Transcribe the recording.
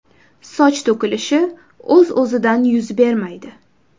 Soch to‘kilishi o‘z-o‘zidan yuz bermaydi.